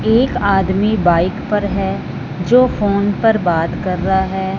एक आदमी बाइक पर है जो फोन पर बात कर रहा है।